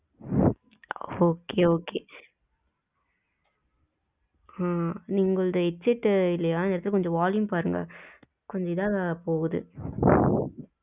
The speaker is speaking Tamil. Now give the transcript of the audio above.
okay, okay ஹம் நீங்க உங்களது headset இல்லையா இந்த இடத்துல கொஞ்சம் volume பாருங்க கொஞ்சம் இதா போகுது